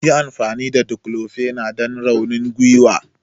Yi amfani da declofenac don raunin gwiwa!